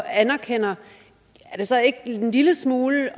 anerkender er det så ikke en lille smule